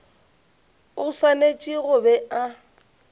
o swanetše go be a